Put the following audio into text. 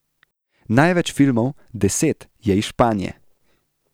Največ filmov, deset, je iz Španije.